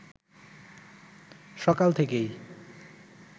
সকাল থেকেই